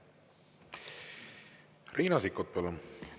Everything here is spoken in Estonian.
Riina Sikkut, palun!